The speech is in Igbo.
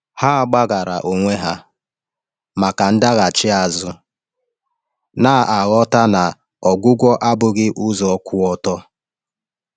Ha gbaghaara onwe ha maka ndaghachi azụ, na-aghọta na ọgwụgwọ abụghị ụzọ kwụ ọtọ.